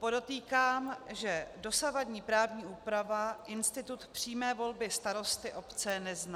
Podotýkám, že dosavadní právní úprava institut přímé volby starosty obce nezná.